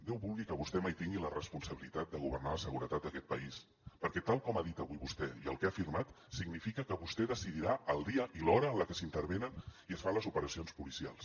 déu vulgui que vostè mai tingui la responsabilitat de governar la seguretat d’aquest país perquè tal com ha dit avui vostè i el que ha afirmat significa que vostè decidirà el dia i l’hora en què s’intervenen i es fan les operacions policials